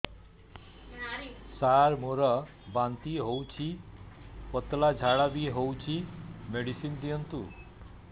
ସାର ମୋର ବାନ୍ତି ହଉଚି ପତଲା ଝାଡା ବି ହଉଚି ମେଡିସିନ ଦିଅନ୍ତୁ